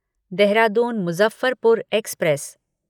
Dehradun Muzaffarpur express